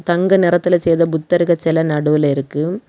தங்க நிறத்தில செய்த புத்தர்கள் சில நடுவுல இருக்கு.